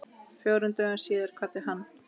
Fjórum dögum síðar kvaddi hann.